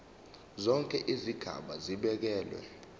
zonke izigaba zibekelwe